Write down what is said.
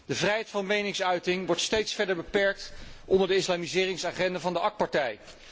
De vrijheid van meningsuiting wordt steeds verder beperkt onder de islamiseringsagenda van de AK partij.